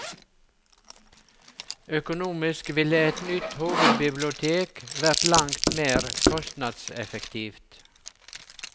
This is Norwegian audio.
Økonomisk ville et nytt hovedbibliotek vært langt mer kostnadseffektivt.